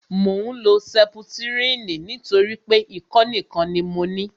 Mò ń lo sẹputirini nítorí pé ikọ́ nìkan ni mo ní